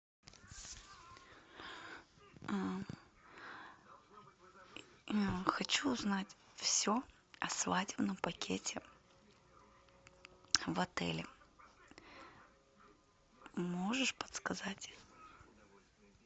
хочу узнать все о свадебном пакете в отеле можешь подсказать